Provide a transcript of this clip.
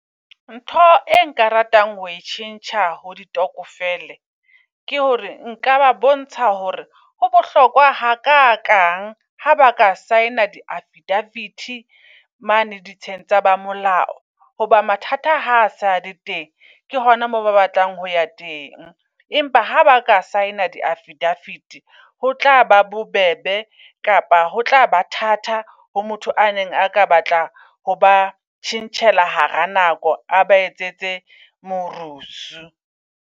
Ntho e nka ratang ho e tjhentjha ho ditokofele ke hore nka ba bontsha hore ho bohlokwa ha ka kang ha ba ka sign a di affidavity mane di tsheng tsa ba molao. Hoba mathata ha sale teng ke hona moo ba batlang ho ya teng. Empa ha ba ka sign-a di affidavit ho tlaba bobebe. Kapa ho tlaba thata ho motho a neng a ka batla ho ba tjhentjhela hara nako, a ba etsetse morusu.